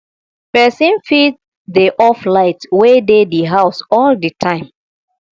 person fit dey off light wey dey di house all di time